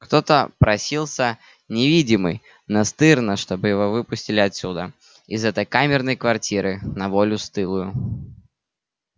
кто-то просился невидимый настырно чтобы его выпустили отсюда из этой камерной квартиры на волю стылую